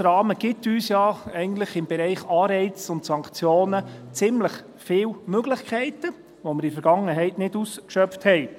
Der SKOS-Rahmen gibt uns ja eigentlich im Bereich Anreize und Sanktionen ziemlich viele Möglichkeiten, die wir in der Vergangenheit nicht ausgeschöpft haben.